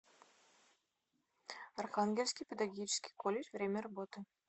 архангельский педагогический колледж время работы